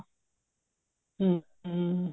ਹਮ ਹਮ